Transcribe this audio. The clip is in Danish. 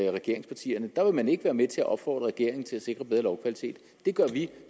af regeringspartierne der vil man ikke være med til at opfordre regeringen til at sikre bedre lovkvalitet det gør vi og